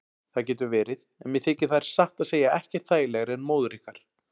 Það getur verið en mér þykir þær satt að segja ekkert þægilegri en móður ykkar.